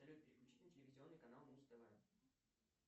салют переключи на телевизионный канал муз тв